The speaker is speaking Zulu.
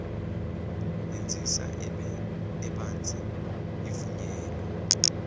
yenzisa ebanzi ivunyelwe